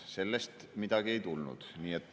Sellest midagi ei tulnud.